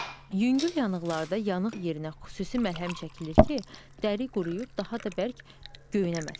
Yüngül yanıqlarda yanıq yerinə xüsusi məlhəm çəkilir ki, dəri quruyub daha da bərk göynəməsin.